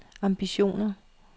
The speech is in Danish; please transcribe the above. ambitioner